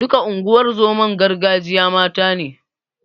Duka unguwar zoman gargajiya mata ne.